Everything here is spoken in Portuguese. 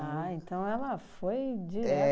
então ela foi direto.